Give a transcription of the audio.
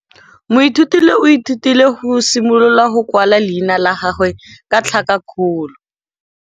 Moithuti o ithutile go simolola go kwala leina la gagwe ka tlhakakgolo.